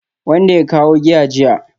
Wanda ya kawo giya jiya